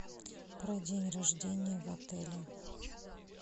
про день рождения в отеле